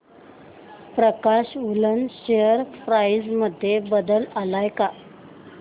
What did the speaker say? प्रकाश woollen share price मध्ये बदल आलाय का